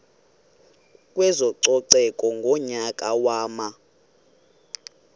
kwezococeko ngonyaka wama